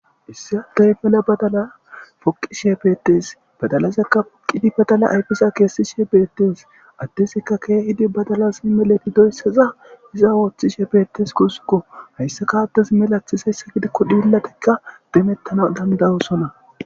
Issi adey meela badala poqishshe beettes badalazakka poqidi badalaza ayfezakka kesishshe bettes adezikka badalazi kehidi meloyissa iza oththishe bettes gusukko hayisakka adezi meleththizayssa gidikko dhiletakka demetanas danada'osona